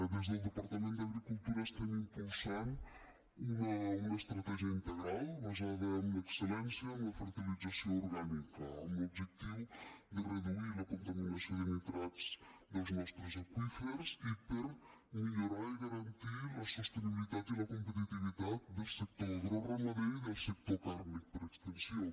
des del departament d’agricultura estem impulsant una estratègia integral basada en l’excel·lència en la fertilització orgànica amb l’objectiu de reduir la contaminació de nitrats dels nostres aqüífers i per millorar i garantir la sostenibilitat i la competitivitat del sector agroramader i del sector càrnic per extensió